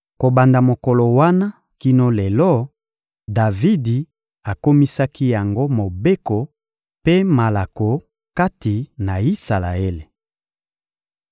Kobanda mokolo wana kino lelo, Davidi akomisaki yango mobeko mpe malako kati na Isalaele.